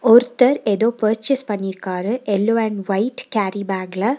ஒருத்தர் எதோ பர்ச்சேஸ் பண்ணிருக்காரு எல்லோ அண்ட் ஒயிட் கேரி பேக்ல .